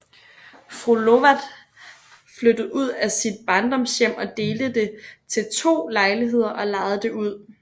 Fru Lovat flyttede ud af sit barndomshjem og delte det til to lejligheder og lejede det ud